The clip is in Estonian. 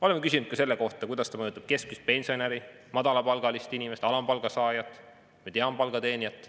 Oleme küsinud ka selle kohta, kuidas see mõjutab keskmist pensionäri, madalapalgalist inimest, alampalga saajat, mediaanpalga teenijat.